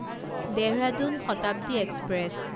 Dehradun Shatabdi express